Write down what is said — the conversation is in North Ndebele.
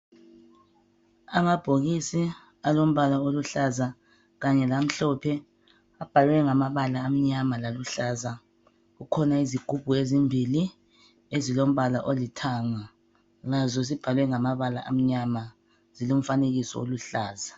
Amabhokisi alombala oluhlaza kanye lamhlophe abhalwe ngamabala amnyama laluhlaza, kukhona izigubhu ezimbili ezilombala olithanga lazo zibhaliwe ngamabala amnyama zilomfanekiso oluhlaza.